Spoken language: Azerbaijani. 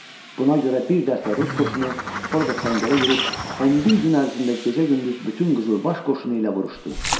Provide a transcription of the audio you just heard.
Buna görə bir dəstə rus qoşunu orada səngərə girib, 11 gün ərzində gecə-gündüz bütün qızılbaş qoşunu ilə vuruşdu.